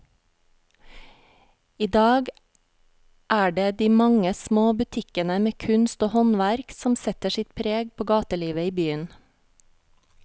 I dag er det de mange små butikkene med kunst og håndverk som setter sitt preg på gatelivet i byen.